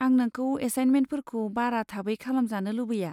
आं नोंखौ एसाइनमेन्टफोरखौ बारा थाबै खालामजानो लुबैया।